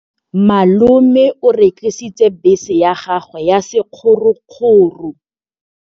Malome o rekisitse bese ya gagwe ya sekgorokgoro.